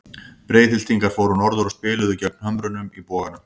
Breiðhyltingar fóru norður og spiluðu gegn Hömrunum í Boganum.